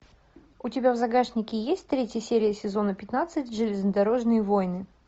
у тебя в загашнике есть третья серия сезона пятнадцать железнодорожные войны